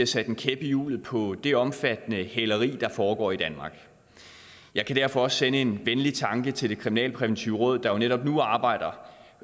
sat en kæp i hjulet på det omfattende hæleri der foregår i danmark jeg kan derfor også sende en venlig tanke til det kriminalpræventive råd der netop nu arbejder